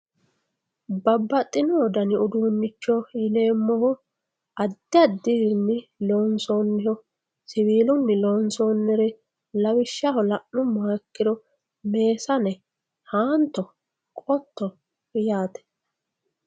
Babaxino dani uduunicho yineemohu adi adirini loonsoniho siwiluni lonsonire lawishshaho lanumoha ikiro meesane haanto qotto yaate.